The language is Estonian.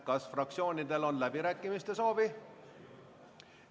Kas fraktsioonidel on läbirääkimiste soovi?